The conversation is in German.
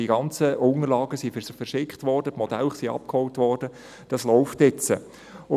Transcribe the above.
Die ganzen Unterlagen wurden verschickt, die Modelle wurden abgeholt, dies läuft nun.